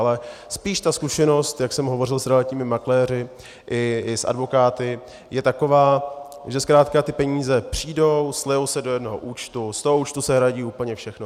Ale spíš ta zkušenost, jak jsem hovořil s realitními makléři i s advokáty, je taková, že zkrátka ty peníze přijdou, slejou se do jednoho účtu, z toho účtu se hradí úplně všechno.